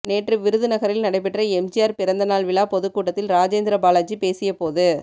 நேற்று விருதுநகரில் நடைபெற்ற எம்ஜிஆர் பிறந்த நாள் விழா பொதுக் கூட்டத்தில் ராஜேந்திர பாலாஜி பேசியபோது